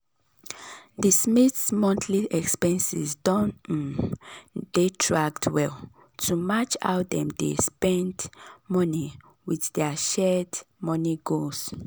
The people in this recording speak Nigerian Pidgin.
d smiths monthly expenses don um dey tracked well to match how dem dey spend money with dir shared money goals.